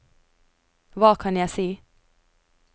hva kan jeg si